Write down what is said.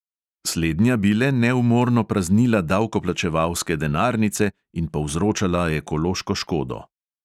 Slednja bi le neumorno praznila davkoplačevalske denarnice in povzročala ekološko škodo.